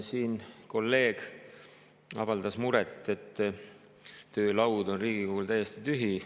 Siin kolleeg avaldas muret, et töölaud on Riigikogul täiesti tühi.